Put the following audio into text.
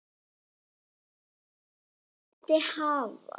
Ég vildi hafa það alveg á hreinu hvernig þetta yrði hjá okkur.